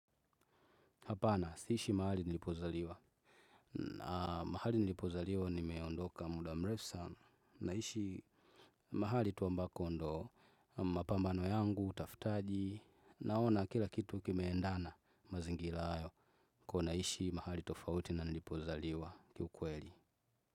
Hapana, siishi mahali nilipozaliwa. Na mahali nilipozaliwa, nimeondoka muda mrefu sana. Naishi mahali tu ambako ndo mapambano yangu, utafutaji, naona kila kitu kimeendana mazingira hayo. Kwa hiyo naishi mahali tofauti na nilipozaliwa kiukweli.